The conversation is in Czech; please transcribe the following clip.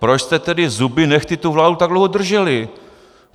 Proč jste tedy zuby nehty tu vládu tak dlouho drželi?